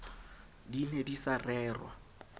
di ne di sa rerwa